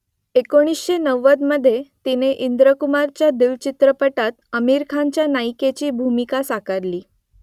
एकोणीसशे नव्वदमधे तिने इंद्रकुमारच्या दिल चित्रपटात आमिर खानच्या नायिकेची भूमिका साकारली